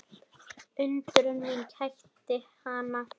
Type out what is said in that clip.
Undrun mín kætti hana.